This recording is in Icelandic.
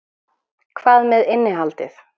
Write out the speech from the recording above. Hvað með innihaldið?